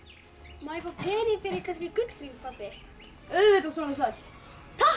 má ég fá pening fyrir kannski gullhring pabbi auðvitað sonur sæll takk